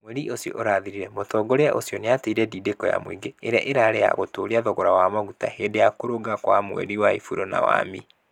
Mweri ũcio ũrathirire, mũtongoria ũcio nĩ atĩire ndindeko ya mũingĩ. ĩria ĩrarĩ ya gũtũũria thogora wa maguta hĩndĩ ya kũrũnga kwa mweri wa Ĩpuro na wa Mĩĩ.